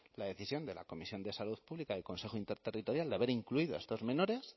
la decisión de la comisión de salud pública y el consejo interterritorial de haber incluido a estos menores